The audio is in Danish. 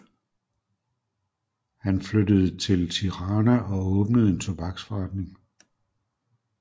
Han flyttede til Tirana og åbnede en tobaksforretning